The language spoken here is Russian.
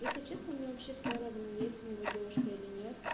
если честно мне вообще все равно есть у него девушка или нет